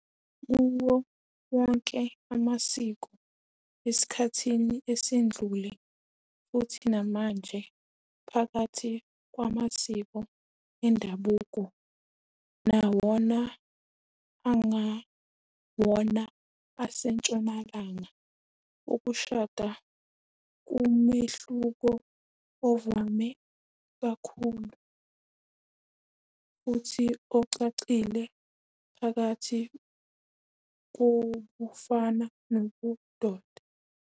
Kuwo wonke amasiko esikhathi esedlule, futhi namanje phakathi kwamasiko endabuko nawona angewona aseNtshonalanga, ukushada ngumehluko ovame kakhulu futhi ocacile phakathi kobufana nobudoda.